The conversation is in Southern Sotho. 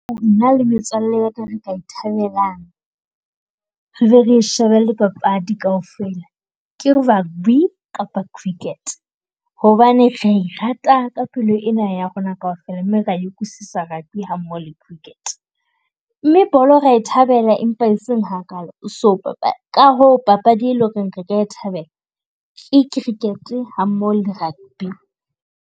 Nna le metswalle ya ka re ka ithabelang, re be re shebille papadi kaofela. Ke rugby kapa cricket hobane re e rata ka pelo ena ya rona kaofela, mme re ya e utlwisisa rugby ha mmoho le cricket. Mme bolo ra e thabela empa e seng hakalo so , ka hoo papadi e leng ho re re ka e thabela ke cricket ha mmoho le rugby.